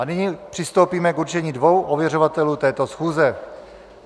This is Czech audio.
A nyní přistoupíme k určení dvou ověřovatelů této schůze.